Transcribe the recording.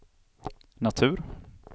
natur